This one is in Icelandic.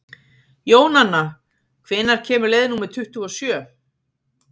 Jónanna, hvenær kemur leið númer tuttugu og sjö?